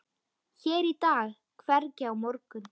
Hér í dag, hvergi á morgun?